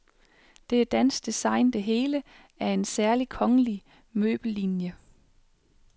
Det er dansk design det hele, af en særlig kongelig møbellinie.